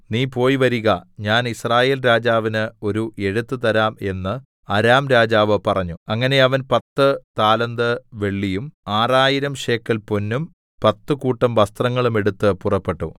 നീ പോയി വരിക ഞാൻ യിസ്രായേൽരാജാവിന് ഒരു എഴുത്തു തരാം എന്ന് അരാം രാജാവ് പറഞ്ഞു അങ്ങനെ അവൻ പത്തു താലന്ത് വെള്ളിയും ആറായിരം ശേക്കെൽ പൊന്നും പത്തു കൂട്ടം വസ്ത്രങ്ങളും എടുത്ത് പുറപ്പെട്ടു